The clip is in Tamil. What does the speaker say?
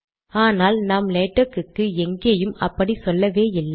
ஆனால் நாம் லேடக்குக்கு எங்கேயும் அப்படி சொல்லவே இல்லை